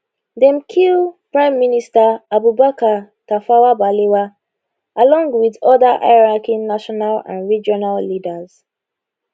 dem kill prime minister abubakar tafawa balewa along wit oda highranking national and regional leaders